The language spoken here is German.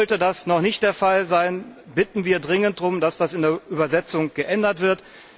Sollte das noch nicht der Fall sein, bitten wir dringend darum, dass das in der Übersetzung geändert wird.